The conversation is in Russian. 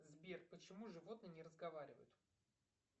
сбер почему животные не разговаривают